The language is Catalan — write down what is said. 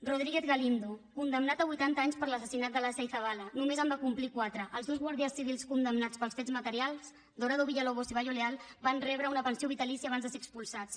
rodríguez galindo condemnat a vuitanta anys per l’assassinat de lasa i zabala només en va complir quatre els dos guàrdies civils condemnats pels fets materials dorado villalobos i bayo leal van rebre una pensió vitalícia abans de ser expulsats